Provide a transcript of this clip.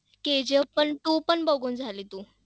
KGF पण two पण बघून झाली तू?